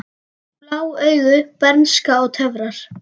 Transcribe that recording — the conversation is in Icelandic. Blá augu, bernska og töfrar